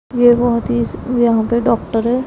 ये बहोत ही इस यहां पे डॉक्टर है।